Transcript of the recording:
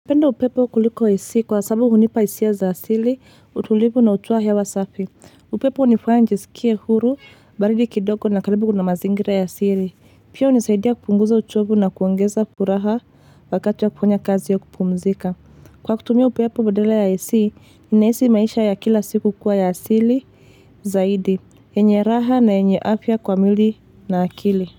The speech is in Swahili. Penda upepo kuliko AC kwa sababu hunipa isia za asili, utulivu na utoa hewa safi. Upepo unifanya nijisikie huru, baridi kidoko na karibu kuna mazingira ya asili. Pia unisaidia kupunguza uchovu na kuongeza furaha wakati wa kufanya kazi ya kupumzika. Kwa kutumia upepo badala ya AC, ninaisi maisha ya kila siku kuwa ya asili zaidi. Enye raha na enye afya kwa mwili na akili.